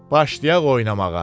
Başlayaq oynamağa.